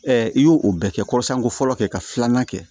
i y'o o bɛɛ kɛ kɔrɔsanko fɔlɔ kɛ ka filanan kɛ